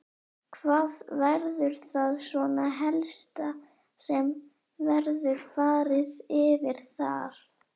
Hvað verður það svona helsta sem verður farið yfir þar?